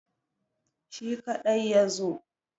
Shi kaɗai ya zo.